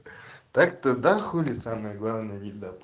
так-то да хули самое главное не дал